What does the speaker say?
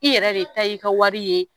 I yɛrɛ de ta ye i ka wari ye